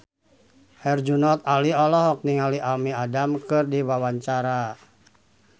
Herjunot Ali olohok ningali Amy Adams keur diwawancara